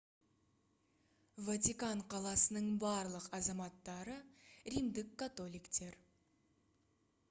ватикан қаласының барлық азаматтары римдік католиктер